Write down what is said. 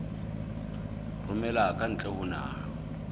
romela ka ntle ho naha